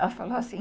Ela falou assim...